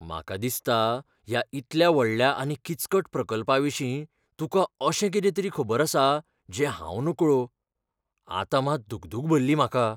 म्हाका दिसता ह्या इतल्या व्हडल्या आनी किचकट प्रकल्पाविशीं तुका अशें कितें तरी खबर आसा, जें हांव नकळो. आतां मात दुगदूग भरली म्हाका.